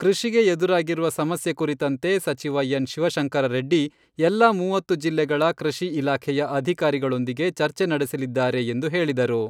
ಕೃಷಿಗೆ ಎದುರಾಗಿರುವ ಸಮಸ್ಯೆ ಕುರಿತಂತೆ ಸಚಿವ ಎನ್. ಶಿವಶಂಕರರೆಡ್ಡಿ ಎಲ್ಲಾ ಮೂವತ್ತು ಜಿಲ್ಲೆಗಳ ಕೃಷಿ ಇಲಾಖೆಯ ಅಧಿಕಾರಿಗಳೊಂದಿಗೆ ಚರ್ಚೆ ನಡೆಸಲಿದ್ದಾರೆ ಎಂದು ಹೇಳಿದರು.